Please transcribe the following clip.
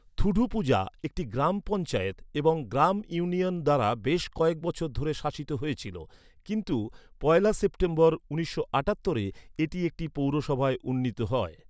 থুডুপুঝা একটি গ্রাম পঞ্চায়েত এবং গ্রাম ইউনিয়ন দ্বারা বেশ কয়েক বছর ধরে শাসিত হয়েছিল, কিন্তু পয়লা সেপ্টেম্বর উনিশশো আটাত্তরে, এটি একটি পৌরসভায় উন্নীত হয়।